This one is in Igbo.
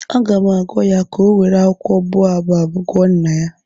Aga m agwa ya ka ọ were akwụkwọ boabab gwọọ nna ya